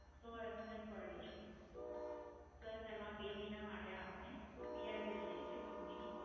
સો SMS પર Day છે. Plus એમાં બે મહિના માટે આપણે PRBD છે જે કંપનીની Call